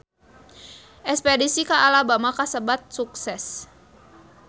Espedisi ka Alabama kasebat sukses